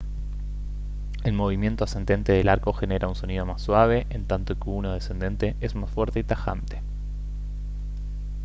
el movimiento ascendente del arco genera un sonido más suave en tanto que uno descendente es más fuerte y tajante